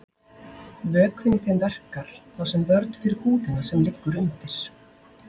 vökvinn í þeim verkar þá sem vörn fyrir húðina sem liggur undir